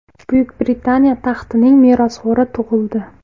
Buyuk Britaniya taxtining merosxo‘ri tug‘ildi.